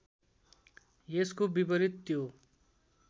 यसको विपरीत त्यो